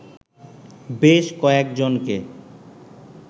বেশ কয়েকজনকে